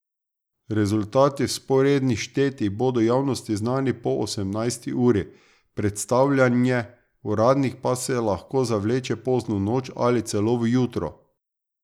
Rezultati vzporednih štetij bodo javnosti znani po osemnajsti uri, predstavljanje uradnih pa se lahko zavleče pozno v noč ali celo v jutro.